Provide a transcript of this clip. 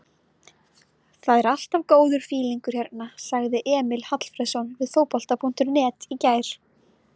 Það er alltaf góður fílingur hérna, sagði Emil Hallfreðsson við Fótbolta.net í gær.